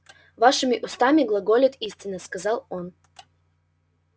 вашими устами глаголет истина сказал он